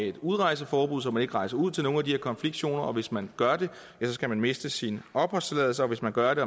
et udrejseforbud så man ikke rejser ud til nogle af de her konfliktzoner og hvis man gør det skal man miste sin opholdstilladelse og hvis man gør det